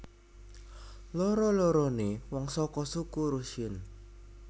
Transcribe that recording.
Loro loroné wong saka suku Rusyn